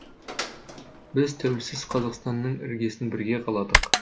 біз тәуелсіз қазақстанның іргесін бірге қаладық